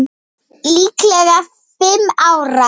Líklega fimm ára.